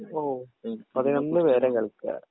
ഓ പതിനൊന്ന് പേര് കളിക്കാരാ